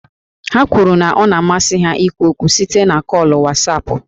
Ha kwuru na ọ na-amasị ha ikwu okwu site na kọọlụ Wasapụ